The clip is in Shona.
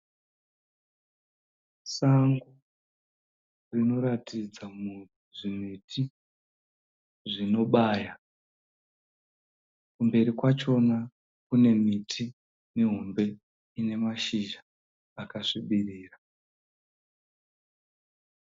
Sango rinoratidzamo zvimiti zvonobaya. Kumberi kwachona kune miti mihombe ine mashizha akasvibirira.